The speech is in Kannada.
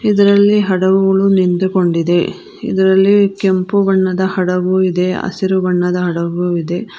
ಇದರಲ್ಲಿ ಹಡುವಳು ನಿಂತು ಕೊಂಡಿದೆ ಇದರಲ್ಲಿ ಕೆಂಪು ಬಣ್ಣದ ಹಡಗು ಇದೆ ಹಸಿರು ಬಣ್ಣದ ಹಡಗುವಿದೆ.